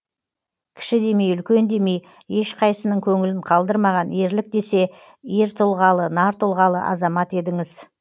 кіші демей үлкен демей ешқайсысының көңілін қалдырмаған ерлік десе ер тұлғалы нар тұлғалы азамат едіңіз